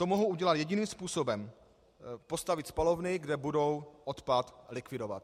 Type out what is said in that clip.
To mohou udělat jediným způsobem - postavit spalovny, kde budou odpad likvidovat.